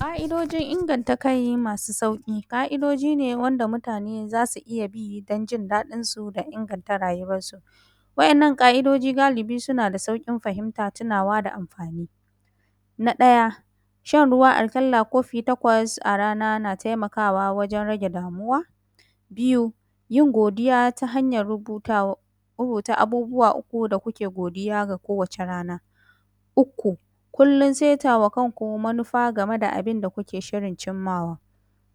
Ƙa'idojin inganta kai masu sauƙi. Ka’idoji ne wanda mutane za su iya bi don jin daɗinsu da inganta rayuwarsu. Wa’yannan Ka’idojin suna da sauƙin fahimta, tunawa da amfani. Na ɗaya shan ruwa aƙalla kofi takwas a rana na taimakawa wajen rage damuwa. Biyu yin godiya ta hanyar rubuta, rubuta abubuwa uku da kuke godiya a kowace rana. Uku kullum setawa kanku manufa game da abun da kuke shirin cimmawa.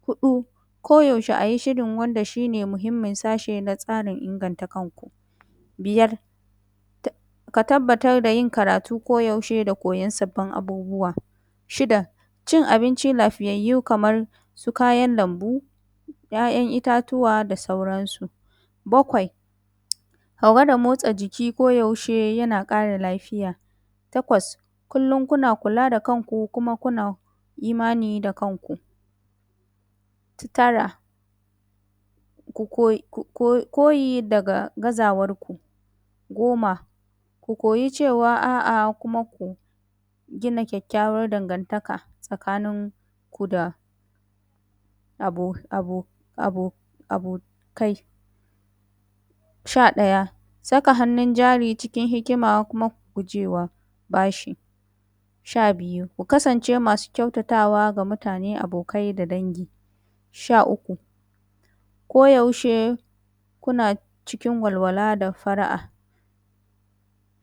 Huɗu ko yaushe a yi shirin wanda shi ne muhimmin sashe wurin inganta kanku. Biyar ka ka tabbatar da yin karatu ko yaushe da koyan sabbn abubuwa. Shida cin abinci lafiyayyu kamar su kayan lambu, ‘ya’yan itatuwa da sauran su. Bakwai ka gwada motsa jiki koyaushe yana ƙara lafiya. Takwas kullum kuna kula da kanku kuma kuna imani da kanku. Tara ku ko, ku ko, koyi daga gazawarku.. Goma ku koyi cewa a'a, kuma ku gina kyakykyawar dangantaka tsakanin ku da abo abo abokai. Sha ɗaya, saka hannun jari cikin hikima kuma ku gujewa bashi. Sha biyu, ku kasance masu kyautatawa ga mutane abokai da dangi. Sha uku, koyaushe kuna cikin walwala da far’a.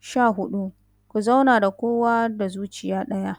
Sha huɗu, ku zauna da kowa da zuciya ɗaya.